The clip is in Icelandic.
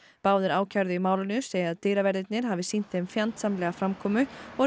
báðir ákærðu í málinu segja að dyraverðirnir hafi sýnt þeim fjandsamlega framkomu og